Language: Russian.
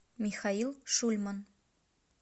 михаил шульман